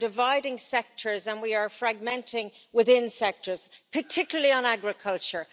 We are dividing sectors and we are fragmenting within sectors, particularly on agriculture.